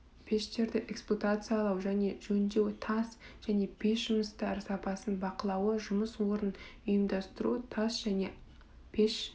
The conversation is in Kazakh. пештерді эксплуатациялау және жөндеу тас және пеш жұмыстары сапасын бақылауы жұмыс орнын ұйымдастыру тас және пеш